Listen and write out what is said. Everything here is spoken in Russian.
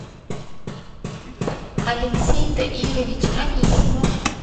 алексей таирович анисимов